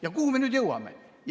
Ja kuhu me nüüd jõuame?